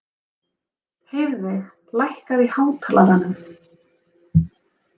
Heiðveig, lækkaðu í hátalaranum.